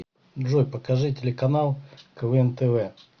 джой покажи телеканал квн тв